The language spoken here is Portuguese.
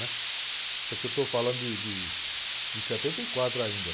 né? Isso aqui eu estou falando de, de, de setenta e quatro ainda.